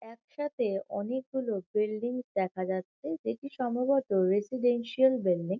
একসাথে অনেকগুলো বিল্ডিং দেখা যাচ্ছে যেটি সম্ভবত রেসিডেন্সিয়াল বিল্ডিং --